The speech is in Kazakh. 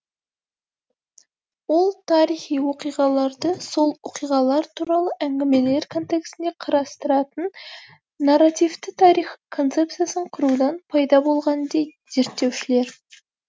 ол тарихи оқиғаларды сол оқиғалар туралы әңгімелер контексінде қарастыратын нарративті тарих концепциясын құрудан пайда болған дейд зерттеушілер